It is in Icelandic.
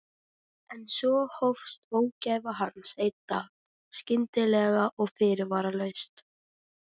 En svo hófst ógæfa hans dag einn, skyndilega og fyrirvaralaust.